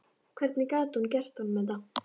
Hvernig gat hún gert honum þetta?